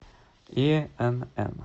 инн